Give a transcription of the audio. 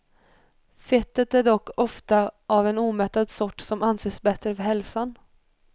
Fettet är dock ofta av en omättad sort som anses bättre för hälsan.